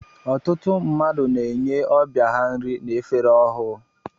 Ọtụtụ mmadụ na-enye ọbịa ha nri n'efere ọhụụ.